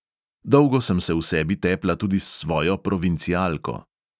Dolgo sem se v sebi tepla tudi s svojo provincialko.